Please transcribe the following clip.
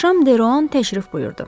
Axşam Deroan təşrif buyurdu.